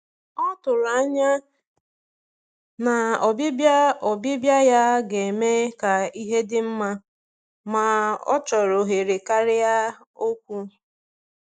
Ọ tụrụ anya na ọbịbịa ọbịbịa ya ga-eme ka ihe dị mma, ma ọ chọrọ ohere karịa okwu.